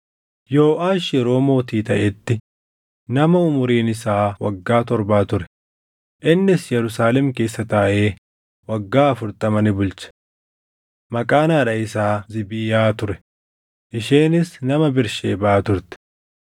Yooʼaash yeroo mootii taʼetti nama umuriin isaa waggaa torbaa ture; innis Yerusaalem keessa taaʼee waggaa afurtama ni bulche. Maqaan haadha isaa Ziibiyaa ture; isheenis nama Bersheebaa turte.